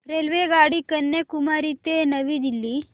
रेल्वेगाडी कन्याकुमारी ते नवी दिल्ली